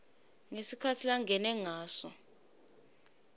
ngesikhatsi langene ngaso